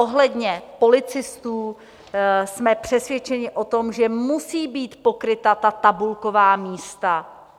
Ohledně policistů jsme přesvědčeni o tom, že musí být pokryta ta tabulková místa.